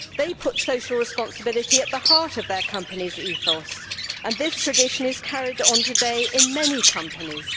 They put social responsibility at the heart of their company's ethos, and this tradition is carried on today in many companies.